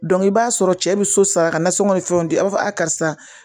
i b'a sɔrɔ cɛ bɛ so sara ka nasɔngɔ ni fɛnw di a b'a fɔ a karisa